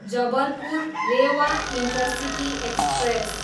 Jabalpur, Rewa intercity express